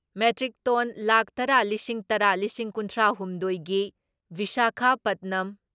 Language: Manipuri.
ꯃꯦꯇ꯭ꯔꯤꯛ ꯇꯣꯟ ꯂꯥꯈ ꯇꯔꯥ ꯂꯤꯁꯤꯡꯇꯔꯥ ꯂꯤꯁꯤꯡ ꯀꯨꯟꯊ꯭ꯔꯥ ꯍꯨꯝꯗꯣꯏ ꯒꯤ ꯚꯤꯁꯥꯈꯥꯄꯠꯅꯝ